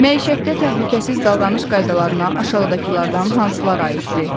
Məişətdə təhlükəsiz davranış qaydalarına aşağıdakılardan hansılar aiddir?